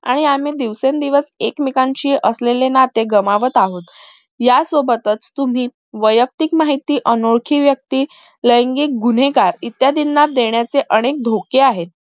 आणि आम्ही दिवसेंदिवस एकमेकांशी असलेले नाते गमावत आहोत यासोबत तुम्ही वयक्तिक माहिती अनोळखी व्यक्ती लैंगिक गुन्हेगार इत्यादी ना देण्याचे अनेक धोके आहेत